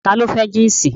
Ta ló fẹ́ jínsì